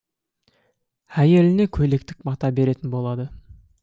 әйеліне көйлектік мата беретін болады